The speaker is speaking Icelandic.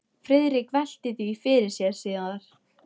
Friðrik velti því fyrir sér síðar.